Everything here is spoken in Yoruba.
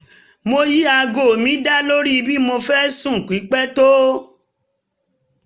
mo yí aago mi da lórí bí mo fẹ́ sùn pípẹ́ tó